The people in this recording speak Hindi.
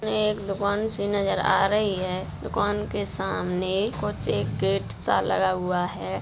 ये एक दुकान सी नजर आ रही है। दुकान के सामने कुछ एक गेट सा लगा हुआ है।